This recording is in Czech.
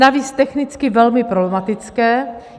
Navíc technicky velmi problematické.